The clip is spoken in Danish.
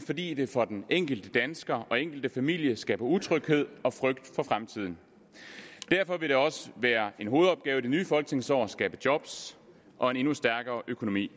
fordi det for den enkelte dansker og enkelte familie skaber utryghed og frygt for fremtiden derfor vil det også være en hovedopgave i det nye folketingsår at skabe jobs og en endnu stærkere økonomi